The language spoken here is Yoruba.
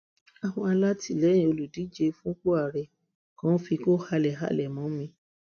àwọn alátìlẹyìn olùdíje fúnpọ àárẹ kan fikú halẹ halẹ mọ mi